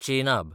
Chenab